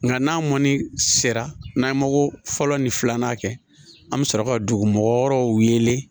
Nga n'a mɔni sera n'an ye mago fɔlɔ ni filanan kɛ an bi sɔrɔ ka dugu mɔgɔ wɔɔrɔw wele